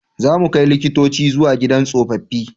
Za mu kai likitoci zuwa gidan tsofaffi